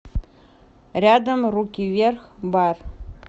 рядом руки вверх бар